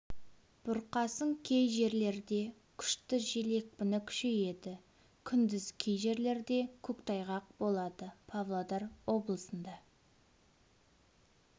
бұрқасын кей жерлерде күшті жел екпіні күшейеді күндіз кей жерлерде көктайғақ болады павлодар облысында